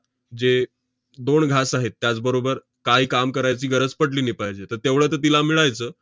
जे दोन घास आहेत, त्याचबरोबर काय काम करायची गरज पडली नी~ पाहिजे. तर तेवढं तर तिला मिळायचं.